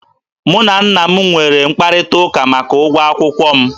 Mụ na nna m nwere mkparịtaụka maka ụgwọ akwụkwọ m